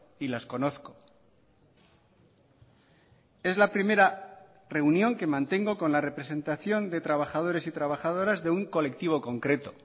y las conozco es la primera reunión que mantengo con la representación de trabajadores y trabajadoras de un colectivo concreto